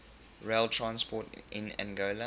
rail transport in angola